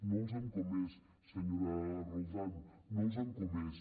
no els han comès senyora roldán no els han comès